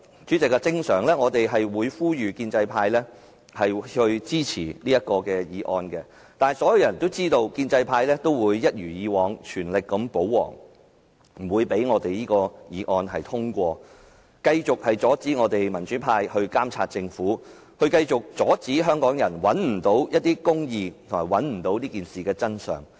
主席，通常我們會呼籲建制派同事支持議案，但所有人都知道，建制派會一如既往，全力保皇，不會讓這議案通過，繼續阻止民主派監察政府，繼續阻止香港人尋求公義、找尋這件事的真相。